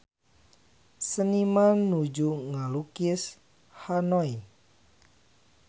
Seniman nuju ngalukis Hanoi